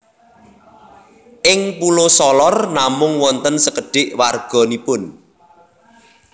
Ing Pulo Solor namung wonten sekedhik warga nipun